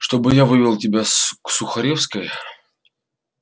чтобы я вывел тебя с к сухаревской